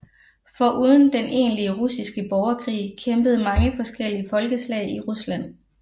Foruden den egentlige russiske borgerkrig kæmpede mange forskellige folkeslag i Rusland